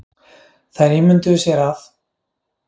Þær ímynduðu sér að